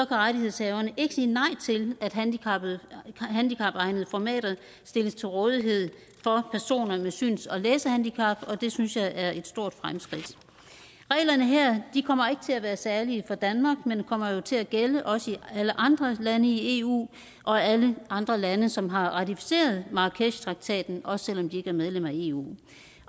rettighedshaverne ikke sige nej til at handicapegnede formater stilles til rådighed for personer med syns og læsehandicap og det synes jeg er et stort fremskridt reglerne her kommer ikke til at være særlige for danmark men kommer jo til at gælde også i alle andre lande i eu og alle andre lande som har ratificeret marrakeshtraktaten også selv om de ikke er medlem af eu